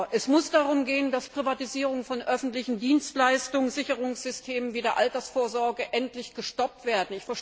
Es muss darum gehen, dass die Privatisierung von öffentlichen Dienstleistungen Sicherungssystemen wie der Altersvorsorge endlich gestoppt wird.